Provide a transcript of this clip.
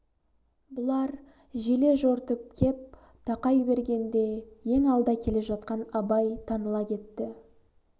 бұлар желе-жортып кеп тақай бергенде ең алда келе жатқан абай таныла кетті